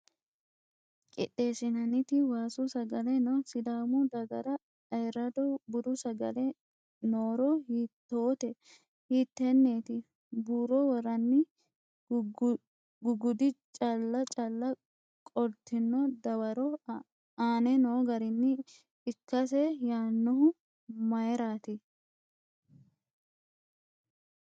qixxeessinanniti waasu sagale no? Sidaamu dagara ayirrado budu sagale Nooro hiittoote? hiittenneeti? Buuro worranni guggudi cala cala qoltino dawaro aane noo garinni ikkase yaannohu mayraati?